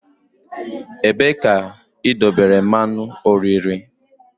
Ebee ka idobere mmanụ oriri?